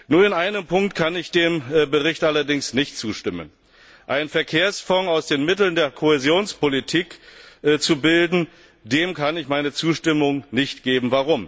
Nur in einem Punkt kann ich dem Bericht allerdings nicht zustimmen Einen Verkehrsfonds aus den Mitteln der Kohäsionspolitik zu bilden, dem kann ich meine Zustimmung nicht geben.